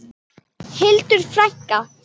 Hildur frænka.